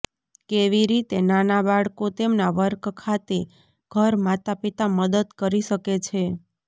કેવી રીતે નાના બાળકો તેમના વર્ક ખાતે ઘર માતાપિતા મદદ કરી શકે છે